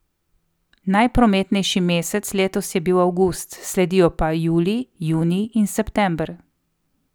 Najprometnejši mesec letos je bil avgust, sledijo pa julij, junij in september.